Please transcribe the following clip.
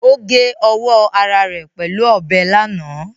Ó gé ọwọ́ ara rẹ̀ pẹ̀lú ọbẹ̀ lánàá